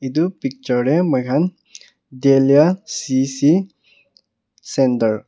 etu picture te moi khan teilia C_S_C center --